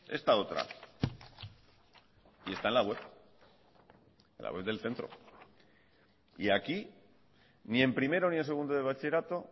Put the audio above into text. esta otra y está en la web la web del centro y aquí ni en primero ni en segundo de bachillerato